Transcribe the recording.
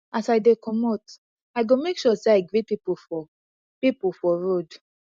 as i dey comot i go make sure sey i greet pipu for pipu for road